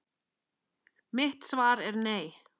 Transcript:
Mitt svar er nei.